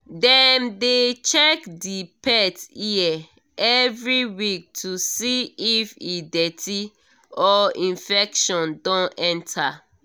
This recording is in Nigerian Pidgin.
dem dey check the pet ear every week to see if e dirty or infection don enter